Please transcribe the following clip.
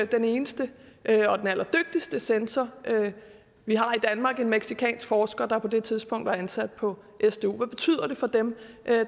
den eneste og den allerdygtigste censor vi har i danmark en mexicansk forsker der på det tidspunkt var ansat på sdu hvad betyder det for dem